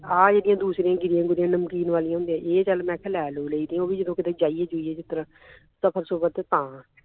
ਆਹ ਜਿਹੜੀਆਂ ਦੂਸਰਿਆਂ ਗਿਰੀਆਂ ਗੁਰਿਆਂ ਨਮਕੀਨ ਵਾਲਿਆਂ ਹੁੰਦੀਆਂ ਇਹ ਚੱਲ ਮੈਂ ਲੈ ਲੁ ਲਈ ਦੀਆਂ ਉਹ ਵੀ ਕਿਤੇ ਜਾਈਏ ਜੂਈਏ ਕਿਸੇ ਤਰ੍ਹਾਂ ਸਫ਼ਰ ਸੁਫਰ ਤੇ ਤਾਂ